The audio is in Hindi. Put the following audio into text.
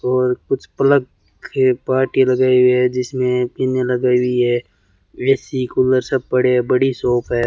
और कुछ प्लक के पार्ट ये लगाई हुई है जिसमें पिने लगाई हुई है ए_सी कूलर सब पड़े हैं बड़ी शॉप है।